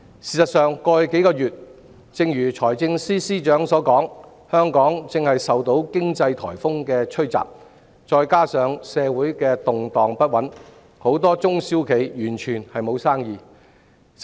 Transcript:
事實上，正如財政司司長所說，過去數月香港正受經濟颱風吹襲，加上社會動盪不穩，很多中小企完全沒有生意。